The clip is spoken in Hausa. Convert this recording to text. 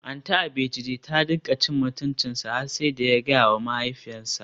Aunty Abejide ta rinka cin mutuncinsa har sai da ya gayawa mahaifiyarsa.